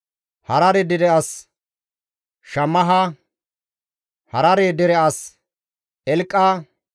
Harare dere as Shammaha, Harare dere as Eliqa,